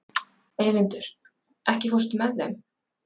Eyvindur, ekki fórstu með þeim?